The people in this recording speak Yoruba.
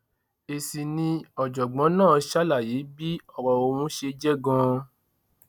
èsì ni ọjọgbọn náà ṣe ṣàlàyé bí ọrọ ọhún ṣe jẹ ganan